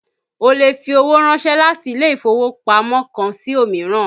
Ó lè fi owó ránsẹ́ láti ilé ìfowópamọ́ kan sí òmíràn